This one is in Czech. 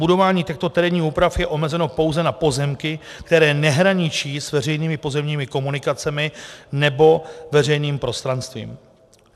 Budování těchto terénních úprav je omezeno pouze na pozemky, které nehraničí s veřejnými pozemními komunikacemi nebo veřejným prostranstvím.